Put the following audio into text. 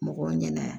Mɔgɔw ɲɛna